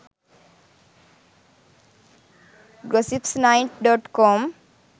gossip 9.com